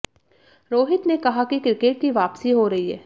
रोहित ने कहा कि क्रिकेट की वापसी हो रही है